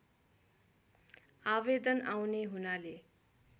आवेदन आउने हुनाले